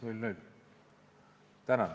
Tänan!